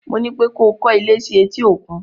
Mo ní pé ko kọ́ ilé sí etí-òkun!